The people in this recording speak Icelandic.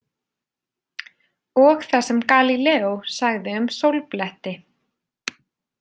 Og það sem Galíleó sagði um sólbletti.